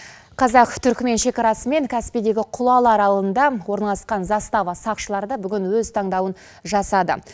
қазақ түрікмен шекарасы мен каспийдегі құлалы ауылында орналасқан застава сақшылары да бүгін өз таңдауын жасады